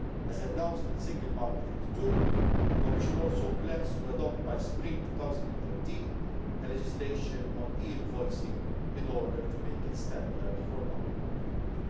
As announced in the Single Market Act II, the Commission also plans to adopt, by Spring 2013, legislation on e invoicing in order to make it standard for public procurement.